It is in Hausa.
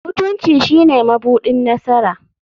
Mutunci shine mabuɗin nasara.